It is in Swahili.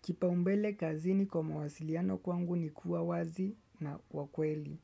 Kipaumbele kazini kwa mawasiliano kwangu ni kuwa wazi na wakweli.